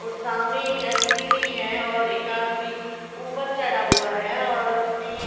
और सामने एक एल_सी_डी है और एक आदमी ऊपर चढ़ा हुआ है और उसने--